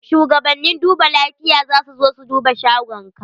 Shugabannin duba lafiya za su zo su duba shagonka.